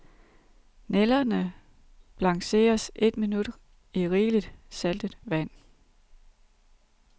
Nælderne blancheres eet minut i rigeligt, saltet vand.